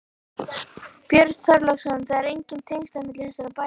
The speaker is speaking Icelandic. Björn Þorláksson: Það eru engin tengsl á milli þessara bæja?